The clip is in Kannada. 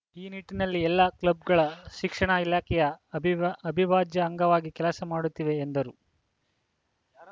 ಈ ನಿಟ್ಟಿನಲ್ಲಿ ಎಲ್ಲ ಕ್ಲಬ್‌ಗಳು ಶಿಕ್ಷಣ ಇಲಾಖೆಯ ಅವಿಭಾ ಅವಿಭಾಜ್ಯ ಅಂಗವಾಗಿ ಕೆಲಸ ಮಾಡುತ್ತಿವೆ ಎಂದರು